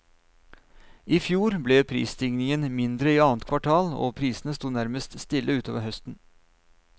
I fjor ble prisstigningen mindre i annet kvartal, og prisene sto nærmest stille utover høsten.